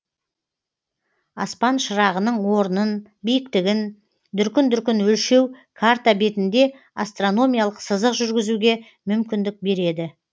аспан шырағының орнын биіктігін дүркін дүркін өлшеу карта бетінде астрономиялық сызық жүргізуге мүмкіндік береді